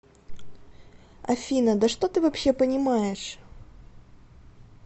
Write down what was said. афина да что ты вообще понимаешь